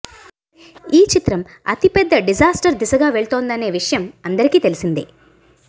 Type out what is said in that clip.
ఈ చిత్రం అతి పెద్ద డిజాస్టర్ దిశగా వెళ్తోందనే విషయం అందరికి తెలిసిందే